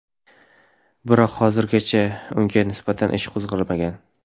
Biroq hozircha unga nisbatan ish qo‘zg‘almagan.